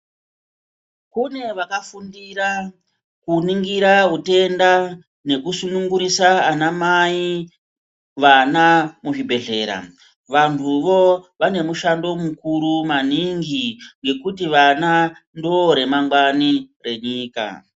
Kune vakafundira kuningira utenda nekusunungurisa ana mai vana muzvibhedhlera. Vantuvo vane mushando mukuru maningi ngekuti vana ndoo ramangwani renyika.